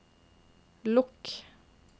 lukk